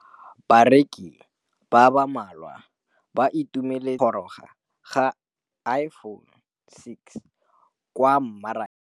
Bareki ba ba malwa ba ituemeletse go gôrôga ga Iphone6 kwa mmarakeng.